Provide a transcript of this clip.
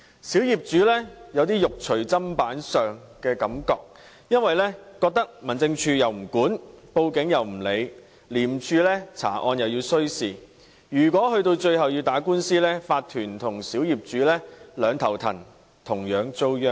小業主有"肉隨砧板上"的感覺，因為民政事務總署又不管，警方也不受理，廉政公署查案亦需時，最後如果要打官司，業主立案法團與小業主便要四處奔波，同樣遭殃。